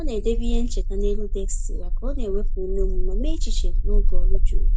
Ọ na-edebe ihe ncheta n’elu deskị ya ka ọ na-ewepụ ume ume ma mee echiche n’oge ọrụ juru.